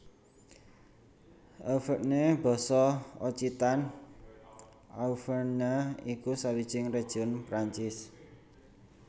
Auvergne basa Occitan Auvèrnha iku sawijining région Perancis